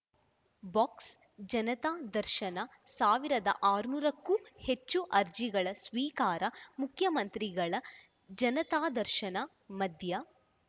box Janata Darshan ಸಾವಿರದ ಆರುನೂರ ಕ್ಕೂ ಹೆಚ್ಚು ಅರ್ಜಿಗಳ ಸ್ವೀಕಾರ ಮುಖ್ಯಮಂತ್ರಿಗಳ ಜನತಾದರ್ಶನ ಮಧ್ಯಾ